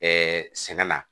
sɛnɛ la